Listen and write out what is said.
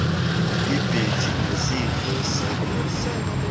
ibhedi nesidlo sakusasa